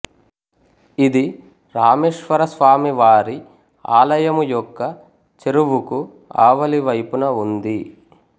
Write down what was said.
ఇది రామేశ్వరస్వామి వారి ఆలయము యొక్క చెరువుకు ఆవలివైపున ఉంది